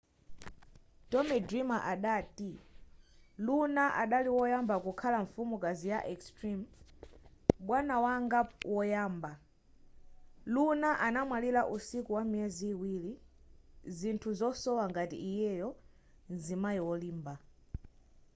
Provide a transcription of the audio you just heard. tommy dreamer adati luna adali woyamba kukhala mfumukazi ya extreme bwana wanga woyamba luna anamwalira usiku wa miyezi iwiri zinthu zosowa ngati iyeyo mzimayi wolimba